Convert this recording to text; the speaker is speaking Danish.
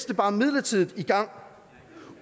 det bare midlertidigt i gang